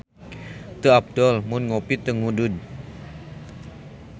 Teu apdol mun ngopi teu ngudud